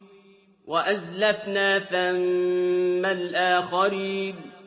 وَأَزْلَفْنَا ثَمَّ الْآخَرِينَ